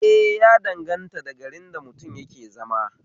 Eh ya danganta da garin da mutum yake zama